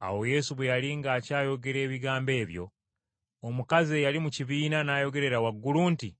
Awo Yesu bwe yali ng’akyayogera ebigambo ebyo, omukazi eyali mu kibiina n’ayogerera waggulu nti,